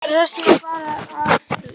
Rakst bara á tvær.